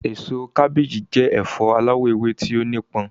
Èso kábééjì jẹ́ ẹ̀fọ aláwọ̀ ewé tí ó nípọn.